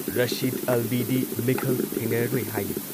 ꯔꯁꯤꯗ ꯑꯜꯕꯤꯗꯤ ꯃꯤꯈꯜ ꯊꯦꯡꯅꯔꯔꯣꯏ ꯍꯥꯏꯔꯤ ꯫